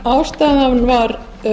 ástæðan var